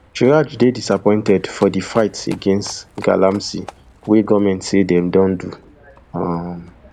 chraj dey disappointed for di fight against galamsey wey goment say dey don dey do um